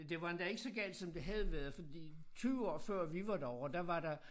Det var endda ikke så galt som det havde været fordi 20 år før vi var derovre der var der